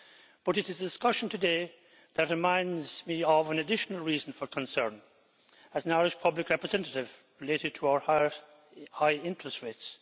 But it is a discussion today that reminds me of an additional reason for concern, as an Irish public representative, related to our high interest rates.